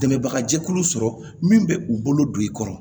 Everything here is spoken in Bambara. Dɛmɛbaga jɛkulu sɔrɔ min bɛ u bolo don i kɔrɔ